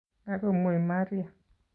Kagomwei Maria